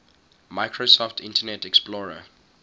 microsoft internet explorer